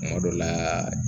Kuma dɔ la